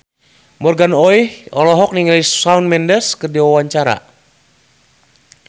Morgan Oey olohok ningali Shawn Mendes keur diwawancara